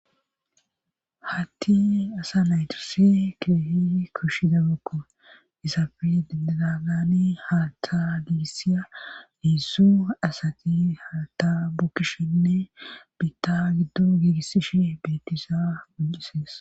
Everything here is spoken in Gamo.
haatti asa naytasi keehidi koshiza dabakko isafe diadagani haata giigisiya niissu asati haata bukkishenne biitta giddo giigisishe betisa punqisees